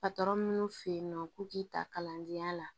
Patɔrɔn minnu fe yen nɔ k'u k'i ta kalandenya la